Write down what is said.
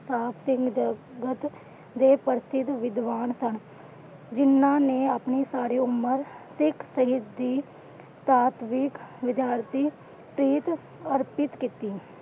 ਦੇ ਪ੍ਰਸ਼ਿਦ ਵਿਦਿਵਾਨ ਸਨ ਜਿਨਾਂ ਮੈ ਆਪਣੀ ਸਾਰੀ ਉਮਰ ਸਿੱਖ ਵਿਦਿਆਰਥੀ ਪ੍ਰੀਤ ਅਰਪਿਤ ਕੀਤੀ।